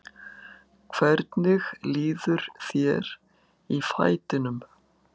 Hvernig líður þér í fætinum?